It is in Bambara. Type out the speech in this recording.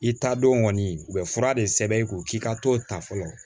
I ta don kɔni u bɛ fura de sɛbɛn i kun k'i ka t'o ta fɔlɔ